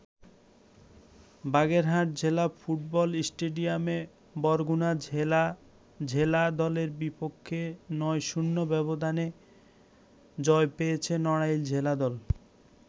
বাগেরহাট জেলা ফুটবল স্টেডিয়ামে বরগুনা জেলা জেলা দলের বিপেক্ষ ৯-০ ব্যবধানে জয় পেয়েছে নড়াইল জেলা দল।